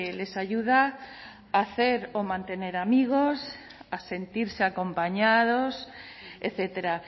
les ayuda a hacer o mantener amigos a sentirse acompañados etcétera